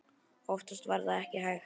Oftast var það ekki hægt.